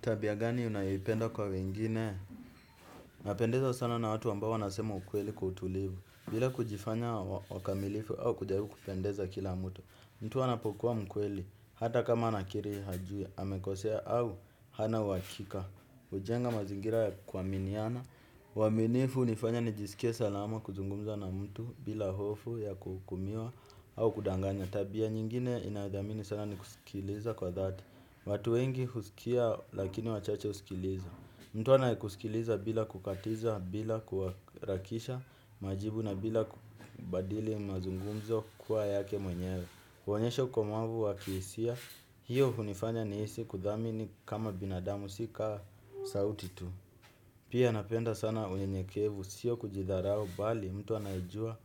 Tabia gani unayoipenda kwa wengine? Napendezwa sana na watu ambao wanasema ukweli kwa utulivu. Bila kujifanya wakamilifu au kujaribu kupendeza kila mtu. Mtu anapokuwa mkweli, hata kama anakiri hajui, amekosea au hana uhakika. Hujenga mazingira ya kuaminiana, uaminifu hunifanya nijisikie salama kuzungumza na mtu bila hofu ya kuhukumiwa au kudanganya. Tabia nyingine ninayodhamini sana ni kusikiliza kwa dhati. Watu wengi husikia lakini wachache husikiliza. Mtu anayekusikiliza bila kukatiza, bila kuharakisha majibu na bila kubadili mazungumzo kuwa yake mwenyewe. Huonyesha ukomavu wa kihisia, hiyo hunifanya nihisi kudhamini kama binadamu si kama sauti tu. Pia napenda sana unyenyekevu, sio kujidharau bali, mtu anayejua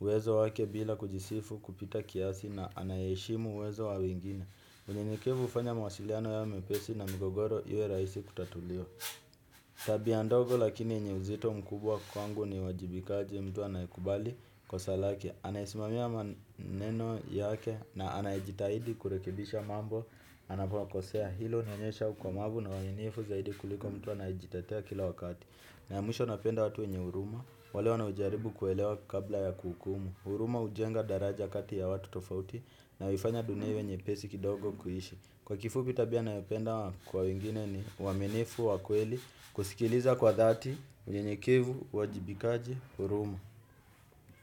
uwezo wake bila kujisifu kupita kiasi na anaye heshimu uwezo wa wengine. Unyentekevu hufanya mawasiliano yawe mepesi na migogoro iwe rahisi kutatuliwa. Tabia ndogo lakini yenye uzito mkubwa kwangu ni uwajibikaji, mtu anayekubali kosa lake, anayeisimamia maneno yake na anayejitahidi kurekibisha mambo. Anapo kosea. Hilo hunionyesha ukomavu na uaninifu zaidi kuliko mtu anaye jitetea kila wakati. Na ya mwisho napenda watu wenye huruma, wale wanao jaribu kuelewa kabla ya kuhukumu. Huruma hujenga daraja kati ya watu tofauti, na huifanya dunia iwe nyeoesi kidogo kuishi. Kwa kifupi tabia ninayopenda kwa wengine ni uaminifu wa kweli, kusikiliza kwa dhati, unyenyekevu, uwajibikaji, huruma.